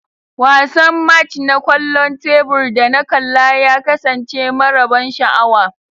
Wasan match na kwallon tebur da na kalla ya kasance mara ban sha'awa.